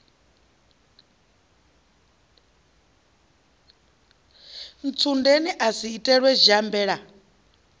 ntsundeni a si itelwe shambela